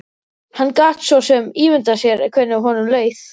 Hann gat svo sem ímyndað sér hvernig honum leið.